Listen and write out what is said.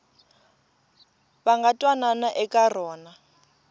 va nga twanana eka rona